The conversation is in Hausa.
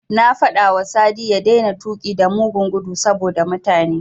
Na faɗawa Sadi ya daina tuƙi da mugun gudu saboda mutane.